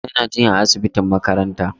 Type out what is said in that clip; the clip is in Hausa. Yana jinya a asibitin makaranta.